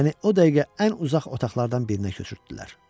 Məni o dəqiqə ən uzaq otaqlardan birinə köçürtdülər.